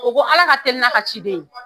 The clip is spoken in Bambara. O ko ala ka teli n'a ka ciden ye